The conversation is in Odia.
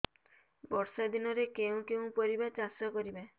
ବର୍ଷା ଦିନରେ କେଉଁ କେଉଁ ପରିବା ଚାଷ କରିବା